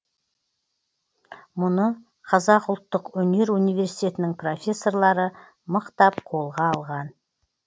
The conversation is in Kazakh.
мұны қазақ ұлттық өнер университетенің профессорлары мықтап қолға алған